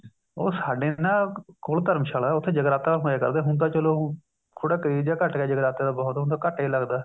ਉਹ ਸਾਡੇ ਨਾ ਕੋਲ ਧਰਮਸ਼ਾਲਾ ਹੈ ਉੱਥੇ ਜਗਰਾਤਾ ਹੋਇਆ ਕਰਦਾ ਸੀ ਹੁਣ ਤਾਂ ਚਲੋ ਥੋੜਾ craze ਜਾ ਘੱਟ ਗਿਆ ਜਗਰਾਤੇ ਦਾ ਬਹੁਤ ਹੁਣ ਤਾਂ ਘੱਟ ਹੀ ਲੱਗਦਾ